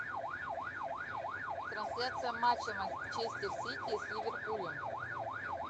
трансляция матча манчестер сити с ливерпулем